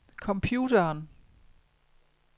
computeren